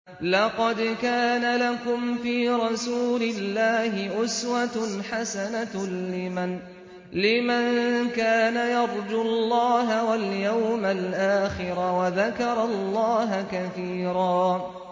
لَّقَدْ كَانَ لَكُمْ فِي رَسُولِ اللَّهِ أُسْوَةٌ حَسَنَةٌ لِّمَن كَانَ يَرْجُو اللَّهَ وَالْيَوْمَ الْآخِرَ وَذَكَرَ اللَّهَ كَثِيرًا